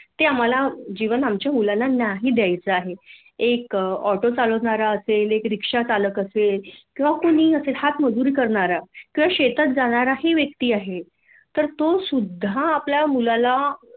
आम्हाला आमच्या मुलाला जीवन नाही द्यायच आहे एक आँटो चालवणारा आसेल एक रिक्षा चालक असेल किंवा कुणीही असेल हात मजूरी करणारा किंवा शेतात जाणाराही व्यक्ती आहे तर तो सुद्धा आपल्या मुलाला